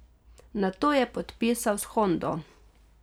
Nato je podpisal s Hondo.